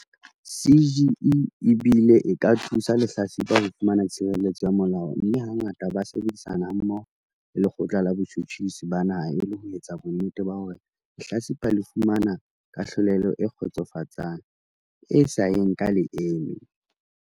CGE e bile e ka thusa lehlatsipa ho fumana tshireletso ya molao mme hangata ba sebedisana hammoho le Lekgotla la Botjhutjhisi ba Naha e le ho etsa bonnete ba hore lehlatsipa le fumana kahlolelo e kgotsofatsang e sa yeng ka leeme.